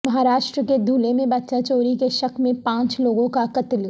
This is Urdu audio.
مہاراشٹر کے دھلے میں بچہ چوری کے شک میں پانچ لوگوں کا قتل